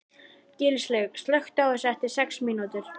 Gilslaug, slökktu á þessu eftir sex mínútur.